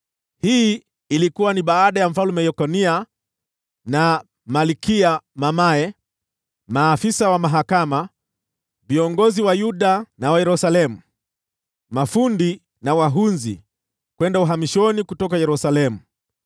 (Hii ilikuwa ni baada ya Mfalme Yekonia na malkia mamaye, maafisa wa mahakama, viongozi wa Yuda na wa Yerusalemu, mafundi na wahunzi kwenda uhamishoni kutoka Yerusalemu.)